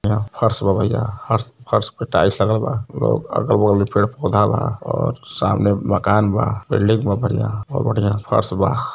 इहा फर्श बा भईया फर्श पर टाइलस लागल बा और आगे में पेड़ पौधे बा और सामने में मकान बा बिल्डिंग बा बढ़िया और बढ़िया फर्श बा।